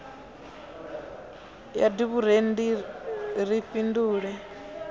ya d vhurendi ni fhindule